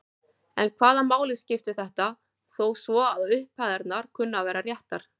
En hvaða máli skiptir þetta þó svo að upphæðirnar kunni að vera réttar?